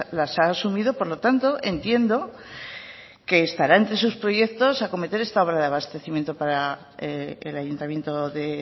las ha asumido por lo tanto entiendo que estará entre sus proyectos acometer esta obra de abastecimiento para el ayuntamiento de